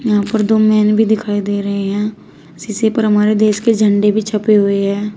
यहां पर दो मेन भी दिखाई दे रहे हैं शीशे पर हमारे देश के झंडे भी छपे हुए हैं।